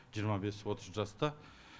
жиырма бес отыз жаста